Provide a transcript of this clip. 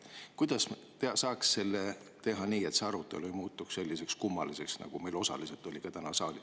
Kuidas saaks teha nii, et see arutelu ei muutuks selliseks kummaliseks, nagu ta meil osaliselt täna on olnud?